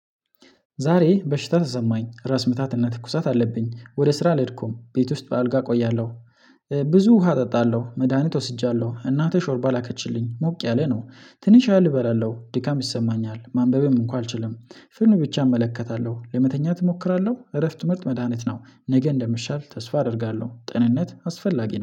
ዛሬ በሽታ ተሰማኝ ራስ ምታት እና ትኩሳት አለብኝ ወደ ስራ አልሄድኩም ቤት ውስጥ በአልጋ እቆያለሁ። ብዙ ውሃ እጠጣለሁ መድሃኒት ወስጃለሁ እናቴ ሾርባ ላከችልኝ ሞቅ ያለ ነው። ትንሽ ያህል እበላለሁ ድካም ይሰማኛል ማንበብም እንኳ አልችልም። ፌልም ብቻ እመለከታለሁ ለመተኛት እሞክራለሁ እረፍት ምርጥ መድሃኒት ነው። ነገ እንደምሻል ተስፋ አደርጋለሁ ጤንነት አስፈላጊ ነው